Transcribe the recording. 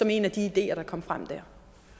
en af de ideer der kom frem der